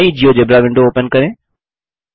नई GeoGebra window open करें